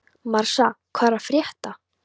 Marsa, hvað er að frétta?